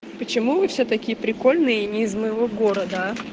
почему вы все такие прикольные и не из моего города